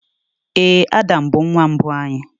Ee, Adam bụ nwa mbụ anyị.